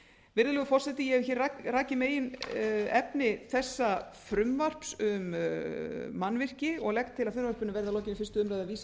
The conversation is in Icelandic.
virðulegur forseti ég hef hér rakið meginefni þessa frumvarps um mannvirki og legg til að frumvarpinu verði að lokinni fyrstu umræðu vísað